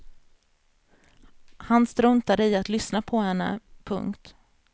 Han struntade i att lyssna på henne. punkt